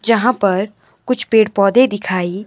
जहां पर कुछ पेड़ पौधे दिखाई--